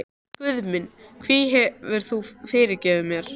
Guð minn, hví hefur þú yfirgefið mig?